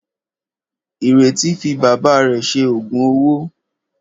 Ìrètí fi bàbá rẹ̀ ṣe òògùn owó.